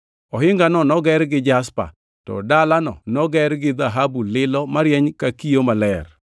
Ohingano noger gi jaspa, to dalano noger gi dhahabu lilo marieny ka kio maler.